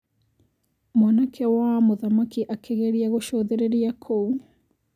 Mwana wa mũthamaki akĩgeria kũcũthĩrĩria kũu.